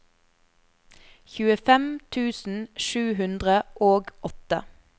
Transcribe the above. tjuefem tusen sju hundre og åtte